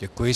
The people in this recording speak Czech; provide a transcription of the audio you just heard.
Děkuji.